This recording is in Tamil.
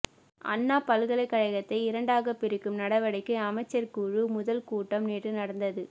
அண்ணா பல்கலைக்கழகத்தை இரண்டாக பிரிக்கும் நடவடிக்கை அமைச்சர் குழு முதல் கூட்டம் நேற்று நடந்தது